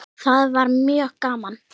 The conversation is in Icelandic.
Það var mjög gaman.